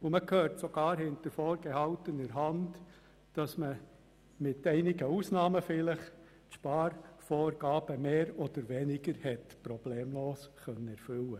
Man hört sogar hinter vorgehaltener Hand, dass man vielleicht abgesehen von einigen Ausnahmen die Sparmassnahmen relativ problemlos erfüllen konnte.